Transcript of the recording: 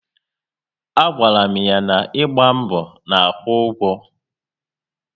A gwara m ya na ịgba mbọ na-akwụ ụgwọ